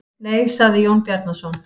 Nei, sagði Jón Bjarnason.